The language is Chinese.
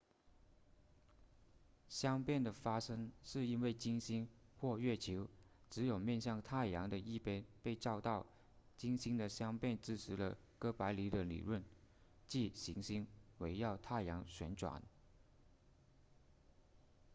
相变的发生是因为金星或月球只有面向太阳的一边被照到金星的相变支持了哥白尼的理论即行星围绕太阳旋转